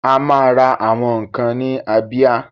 Ama ra àwọn ǹkan ni Abia.